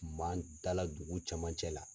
Man dala dugu cɛmancɛ la.